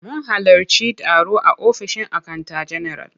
Mun halarci taro a ofishin akanta general.